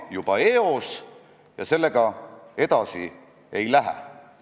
Hariduselt räpane ja roiskund hinge sisikonnast, astun lärtsti ellu sisse, sigind töölisperekonnast.